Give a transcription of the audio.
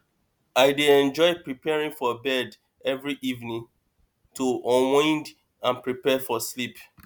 i dey enjoy preparing for bed every evening to unwind and prepare for sleep